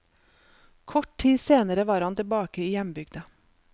Kort tid senere var han tilbake i hjembygda.